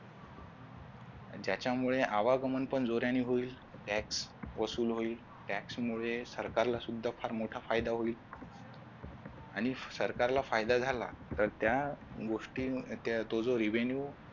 ज्याच्यामुळे आवागमन पण जोराने होईल tax vasul होईल tax मुले सरकारला सुद्धा फार मोठा फायदा होईल आणि सरकारला फायदा झाला तर त्या गोष्टी तो जो revenue